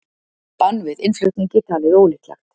Bann við innflutningi talið ólíklegt